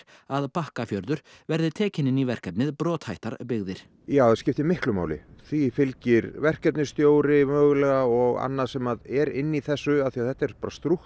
að Bakkafjörður verði tekinn inni í verkefnið brothættar byggðir já það skiptir miklu máli því fylgir verkefnisstjóri mögulega og annað sem er inni í þessu að þetta er